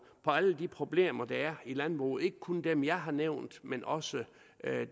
alle de problemer der er i landbruget ikke kun dem jeg har nævnt men også